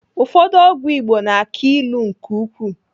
Ụfọdụ ọgwụ Igbo na-aki ilu nke ukwuu.